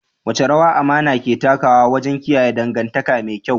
Wace rawa amana ke takawa wajen kiyaye dangantaka me kyau?